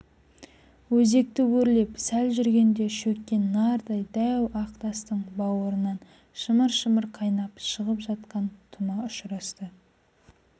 өзекті өрлеп сәл жүргенде шөккен нардай дәу ақ тастың бауырынан шымыр-шымыр қайнап шығып жатқан тұма ұшырасты